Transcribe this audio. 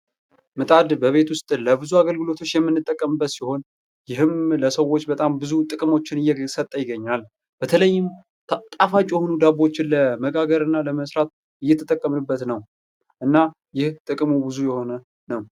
ምጣድ በቤት ውስጥ ለብዙ አገልግሎቶች የምንጠቀምበት ሲሆን ይህም ለሰዎች በጣም ብዙ ጥቅሞችን እየሰጠ ይገኛል። በተለይም ጣፋጭ የሆኑ ዳቦዎችን ለመጋገር እና ለመስራት እየተጠቀምንበት ነው። እና ይህ ጥቅሙ ብዙ የሆነ ነው።